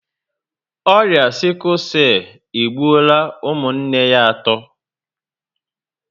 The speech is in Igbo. Ọrịa 'sickle cell' egbuola ụmụnne ya atọ